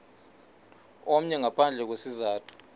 omnye ngaphandle kwesizathu